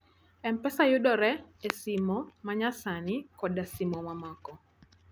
M-Pesa yudore e simo ma nyasani koda simo mamoko.